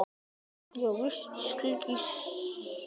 Ég var víst slys.